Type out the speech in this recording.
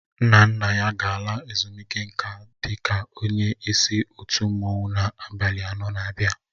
Nna nna ya ga-ala ezumike nká dị ka onye isi otu mmanwụ na abalị anọ n'abia.